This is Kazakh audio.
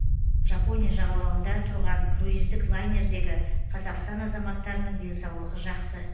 жапония жағалауында тұрған круиздік лайнердегі қазақстан азаматтарының денсаулығы жақсы